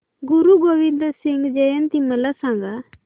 गुरु गोविंद सिंग जयंती मला सांगा